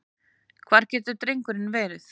Hvar getur drengurinn verið?